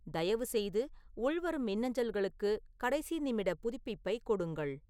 தயவு செய்து உள்வரும் மின்னஞ்சல்களுக்கு கடைசி நிமிட புதுப்பிப்பை கொடுங்கள்